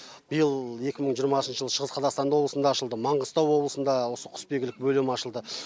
биыл екі мың жиырмасыншы жылы шығыс қазақастанда облысында ашылды маңғыстау облысында осы құсбегілік бөлімі ашылды